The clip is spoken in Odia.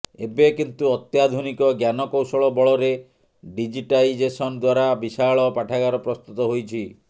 ଏବେ କିନ୍ତୁ ଅତ୍ୟାଧୁନିକ ଜ୍ଞାନକୌଶଳ ବଳରେ ଡିଜିଟାଇଜେସନ୍ ଦ୍ବାରା ବିଶାଳ ପାଠାଗାର ପ୍ରସ୍ତୁତ ହୋଇଛି